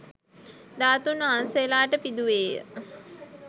ධාතූන් වහන්සේලාට පිදුවේ ය.